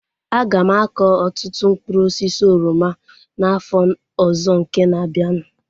Aga m akọ ọtụtụ mkpụrụ osisi oroma n'afọ ọzọ nke na-abianu